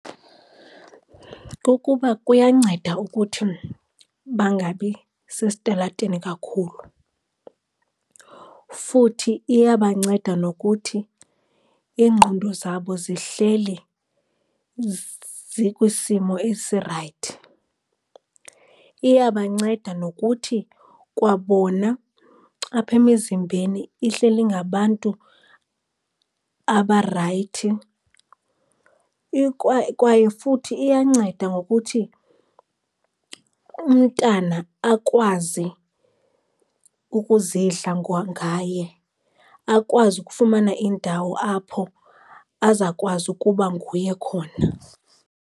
Kukuba kuyanceda ukuthi bangabi sesitalatweni kakhulu. Futhi iyabanceda nokuthi iingqondo zabo zihleli zikwisimo esirayithi. Iyabanceda nokuthi kwabona apha emizimbeni ihleli ngabantu abarayithi, kwaye futhi iyanceda ngokuthi umntana akwazi ukuzidla ngaye akwazi ukufumana indawo apho azakwazi ukuba nguye khona.